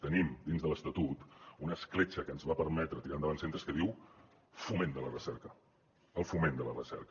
tenim dins de l’estatut una escletxa que ens va permetre tirar endavant centres que diu foment de la recerca el foment de la recerca